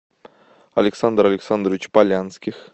александр александрович полянских